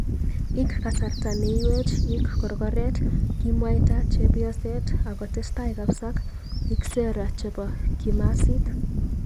Ik kasarta neywech ik korgorret kimwaita chepyoset ak kotestai kapsa ik sera chebo kimaxit.